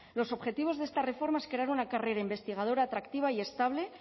los objetivos de esta reforma es crear una carrera investigadora atractiva y estable e